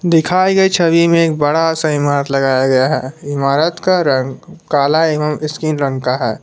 दिखाई गई छवि में एक बड़ा सा इमारत लगाया गया है इमारत का रंग काला एवं स्किन रंग का है।